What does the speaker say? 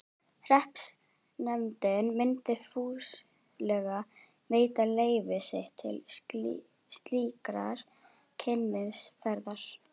Hreppsnefndin myndi fúslega veita leyfi sitt til slíkrar kynnisferðar.